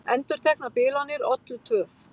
Endurteknar bilanir ollu töf